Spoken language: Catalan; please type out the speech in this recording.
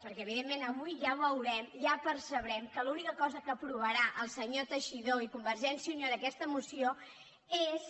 perquè evidentment avui ja veurem ja per·cebrem que l’única cosa que aprovaran el senyor tei·xidó i convergència i unió en aquesta moció és